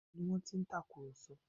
Níbo ni wọ́n ti ń tàkùrọ̀sọ?